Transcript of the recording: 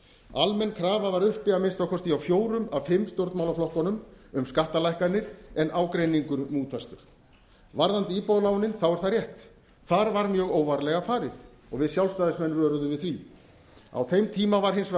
almenn krafa var uppi að minnsta kosti hjá fjórum af fimm stjórnmálaflokkum um skattalækkanir en ágreiningur núllfastur varðandi íbúðalánin er það rétt þar var mjög óvarlega farið og við sjálfstæðismenn vöruðum við því á þeim tíma var hins vegar